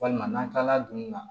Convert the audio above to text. Walima n'an kilala dun na